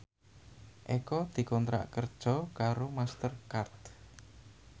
Eko dikontrak kerja karo Master Card